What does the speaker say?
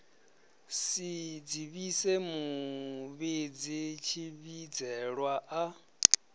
si dzivhise muvhidzi tshivhidzelwa a